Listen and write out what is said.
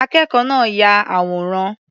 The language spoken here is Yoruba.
Akẹ́kọ̀ọ́ náà ya àwòrán.